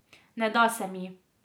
Ne da se mi.